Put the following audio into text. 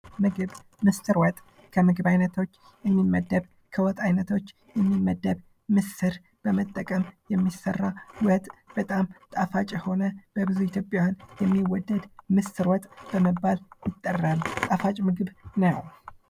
ምግብ ምስር ወጥ ከምግብ አይነቶች የሚመደብ ከወጣ አይነቶች የሚመደብ ምስር በመጠቀም የሚሠራ ወጥ በጣም ጣፋጭ የሆነ በብዙ ኢትዮጵያዊያን የሚወደድ ምስር ወጥ በመባል ይጠራል። ጣፋጭ ምግብ ነው።